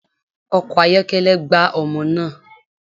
Ọkọ̀ ayọ́kẹ́lẹ́ gbá ọmọ naa